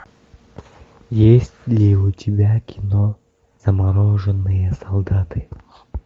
есть ли у тебя кино замороженные солдаты